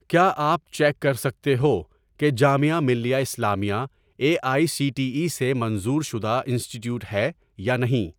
کیا آپ چیک کر سکتے ہو کہ Jamia Millia Islamia A I C T E سے منظور شدہ انسٹی ٹییوٹ ہے یا نہیں؟